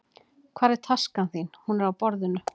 Hvar er taskan þín? Hún er á borðinu.